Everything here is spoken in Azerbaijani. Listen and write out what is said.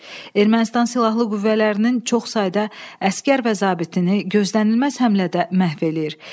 Ermənistan silahlı qüvvələrinin çox sayda əsgər və zabitini gözlənilməz həmlədə məhv eləyir.